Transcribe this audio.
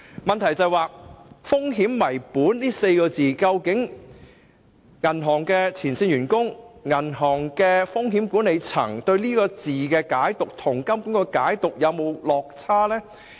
我的補充質詢是，究竟銀行的前線員工和風險管理層對"風險為本"這4個字的解讀與金管局的解讀是否有落差？